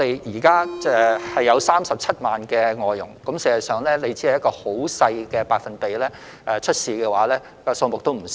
香港現時有37萬名外傭，即使出現問題的個案所佔的百分比很少，實際數目也會不少。